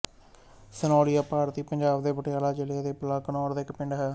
ਸਨੋਲੀਆਂ ਭਾਰਤੀ ਪੰਜਾਬ ਦੇ ਪਟਿਆਲਾ ਜ਼ਿਲ੍ਹੇ ਦੇ ਬਲਾਕ ਘਨੌਰ ਦਾ ਇੱਕ ਪਿੰਡ ਹੈ